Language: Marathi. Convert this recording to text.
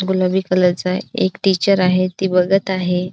गुलाबी कलरचा एक टीचर आहे ती बघत आहे.